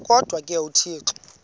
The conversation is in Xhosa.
kodwa ke uthixo